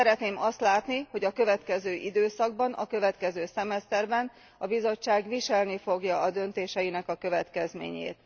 Szeretném azt látni, hogy a következő időszakban, a következő szemeszterben a Bizottság viselni fogja a döntéseinek a következményét.